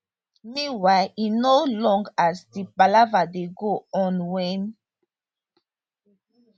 meanwhile e no long as di palava dey go on wen